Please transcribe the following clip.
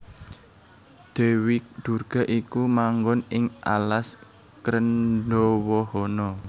Dèwi Durga iku manggon ing alas Krendhawahana